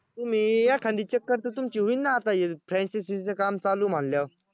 तुम्ही एखांदी चक्कर तर तुमची होईन ना आता franchise च काम चालू म्हंटल्यावर